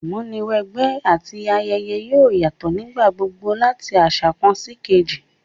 Ìmúniwẹgbẹ́ àti ayẹyẹ yoo yatọ nígbà gbogbo lati aṣa kan síkejì